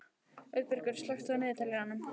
Auðbergur, slökktu á niðurteljaranum.